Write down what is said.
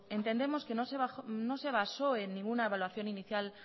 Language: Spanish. entendemos que no se basó en ninguna evaluación inicial